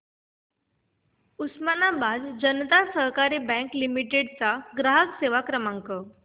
उस्मानाबाद जनता सहकारी bank limited चा ग्राहक सेवा क्रमांक